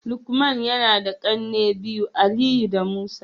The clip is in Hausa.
lukman yana da kanne biyu, Aliyu da Musa